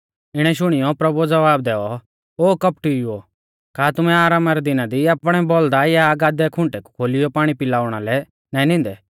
इणै शुणियौ प्रभुऐ ज़वाब दैऔ ओ कौपटीउओ का तुमैं आरामा रै दिना दी आपणै बौल़दा या गादै आशणै रै दिना दी खुंटे कु खोलियौ पाणी पिआउणा लै नाईं नींदै